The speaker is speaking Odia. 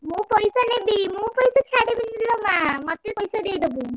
ମୁଁ ପଇସା ନେବି ମୁଁ ପଇସା ଛାଡ଼ିବିନି ଲୋ ମା, ମତେ ପଇସା ଦେଇଦବୁ।